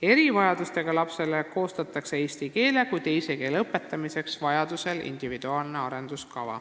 Erivajadustega lapsele koostatakse vajadusel individuaalne arenduskava eesti keele kui teise keele õpetamiseks.